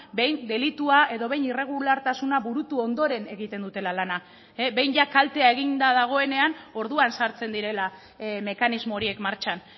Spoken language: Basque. behin delitua edo behin irregulartasuna burutu ondoren egiten dutela lana behin kaltea eginda dagoenean orduan sartzen direla mekanismo horiek martxan